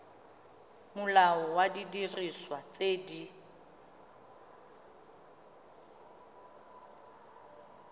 molao wa didiriswa tse di